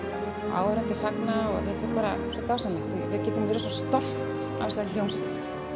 áhorfendur fagna og þetta er bara svo dásamlegt við getum verið stolt af þessari hljómsveit